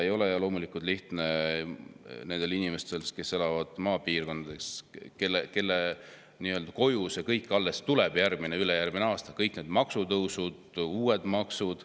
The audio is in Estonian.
Ei ole loomulikult lihtne nendel inimestel, kes elavad maapiirkondades, kelle koju see kõik alles jõuab järgmisel või ülejärgmisel aastal – kõik need maksutõusud ja uued maksud.